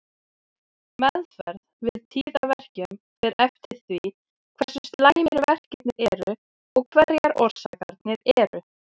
Meðferð við tíðaverkjum fer eftir því hversu slæmir verkirnir eru og hverjar orsakirnar eru.